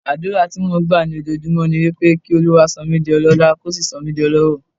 Àdúrà tí mò ń gbà lójoojúmọ́ ni pé kí Olúwa sọ mí di ọlọ́lá, kó sì sọ mí di ọlọ́rọ̀.